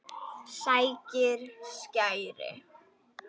Sækir skæri.